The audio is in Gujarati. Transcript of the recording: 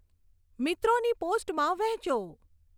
મિત્રોની પોસ્ટમાં વહેંચો